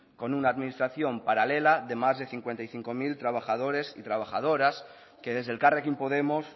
con una administración paralela de más de cincuenta y cinco mil trabajadores y trabajadoras que desde elkarrekin podemos